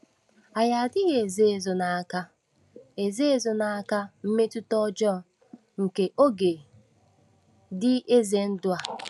Anyị adịghị ezo ezo n’aka ezo ezo n’aka mmetụta ọjọọ nke “oge dị ize ndụ” a.